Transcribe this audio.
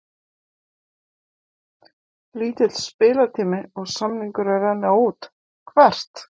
Lítill spilatími og samningur að renna út Hvert?